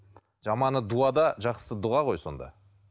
жаманы дуада жақсысы дұға ғой сонда